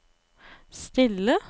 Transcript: stille